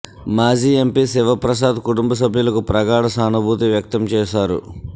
మాజీ ఎంపీ శివప్రసాద్ కుటుంబ సభ్యులకు ప్రగాఢ సానుభూతి వ్యక్తం చేశారు